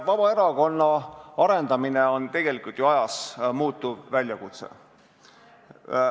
Vabaerakonna arendamine on tegelikult ju ajas muutuv väljakutse.